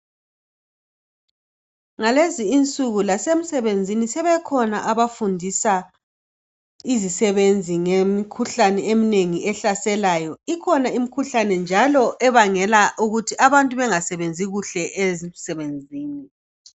Ngalezi insuku lasemsebenzini sebekhona abafundisa izisebenzi ngemikhuhlane eminengi ehlaselayo ikhona imikhuhlane ebangela abantu ukuba bengasebenzi kahle emsebenzini